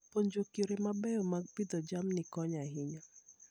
Puonjruok yore mabeyo mag pidho jamni konyo ahinya.